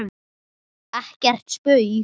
Ekkert spaug